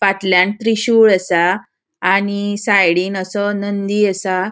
फाटल्यान त्रिशूळ आसा आणि साइडीन असो नंदी असा.